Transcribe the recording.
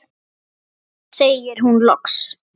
segir hún loks.